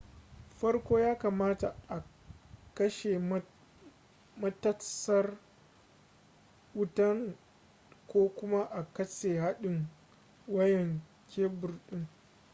farko ya kamata a kashe matatsar wutan ko kuma katse hadin wayan kebur din